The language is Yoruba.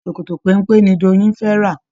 Ṣòkòtò péńpé ni Doyin fé rà.